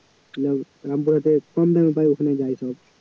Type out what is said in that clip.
রাম~ রামপুরহাটে কম দামে পায় ওখানে যায় সব